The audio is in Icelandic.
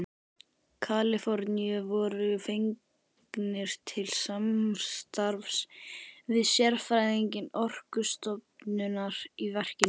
Kaliforníu voru fengnir til samstarfs við sérfræðinga Orkustofnunar í verkinu.